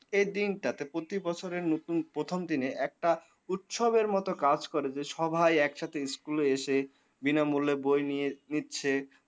এই দিনটাতে প্রতি বছরের নতুন প্রথম দিনে একটা উৎসবের মতো কাজ করে যে সবাই একসাথে schoole এসে বিনামূল্যে বই নিয়ে নিচ্ছে।